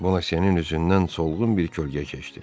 Bonasyenin üzündən solğun bir kölgə keçdi.